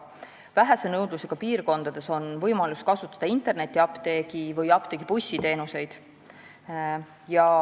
Vähese nõudlusega piirkondades on võimalus kasutada internetiapteegi või apteegibussi teenuseid.